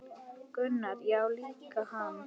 Gunnar: Já líka hann